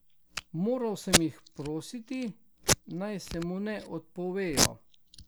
Moral sem jih prositi, naj se mu ne odpovejo.